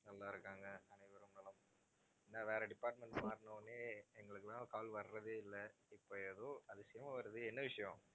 நல்லா இருக்காங்க. அனைவரும் நலம். நான் வேற department மாறுன உடனே எங்களுக்கெல்லாம் call வர்றதே இல்லை. இப்ப ஏதோ அதிசயமா வருது என்ன விஷயம்?